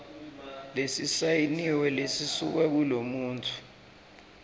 lesisayiniwe lesisuka kulomuntfu